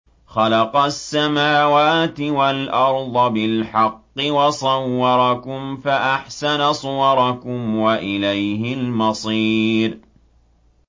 خَلَقَ السَّمَاوَاتِ وَالْأَرْضَ بِالْحَقِّ وَصَوَّرَكُمْ فَأَحْسَنَ صُوَرَكُمْ ۖ وَإِلَيْهِ الْمَصِيرُ